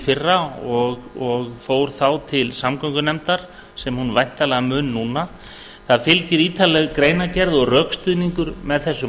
fyrra og fór þá til samgöngunefndar sem hún væntanlega mun núna það fylgir ítarleg greinargerð og rökstuðningur með þessu